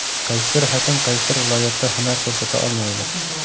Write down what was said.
Qaysidir hakam qaysidir viloyatda hunar ko‘rsata olmaydi.